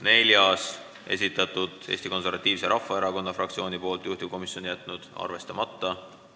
Neljanda muudatusettepaneku on esitanud Eesti Konservatiivse Rahvaerakonna fraktsioon, juhtivkomisjon on jätnud arvestamata.